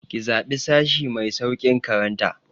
Ki zaɓi sashi mai sauƙin karanta!